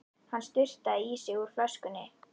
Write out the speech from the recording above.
Hann sturtaði í sig úr flöskunni.